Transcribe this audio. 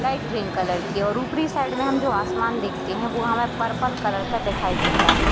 Light green colour की है और उपरी साइड मे हम जो आसमान देखते है वो हमे पर्पल कलर का दिखाई देता है।